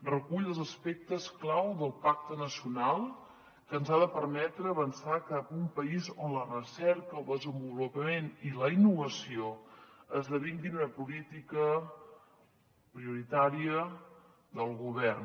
recull els aspectes clau del pacte nacional que ens ha de permetre avançar cap a un país on la recerca el desenvolupament i la innovació esdevinguin una política prioritària del govern